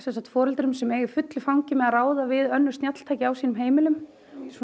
foreldrum sem eiga í fullu fangi við að ráða við önnur snjalltæki á sínum heimilum